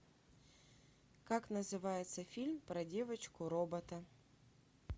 как называется фильм про девочку робота